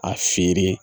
A feere